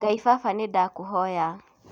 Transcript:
ngai baba nĩndakũhoya